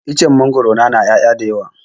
Icen mangwaro na na ƴaya da yawa